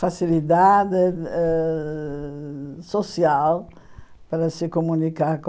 facilidade ãh ãh social para se comunicar com.